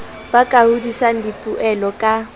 ba ka hodisang dipoelo ka